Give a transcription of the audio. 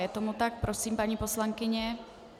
Je tomu tak, prosím paní poslankyně.